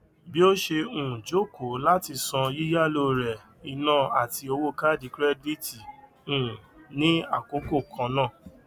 bí o ṣe um jókòó láti san yíyàlò rẹ ina àti owó kaàdì kirẹdìtì um ní àkókò kan náà